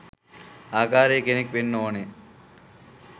ආකාරයේ කෙනෙක් වෙන්න ඕන.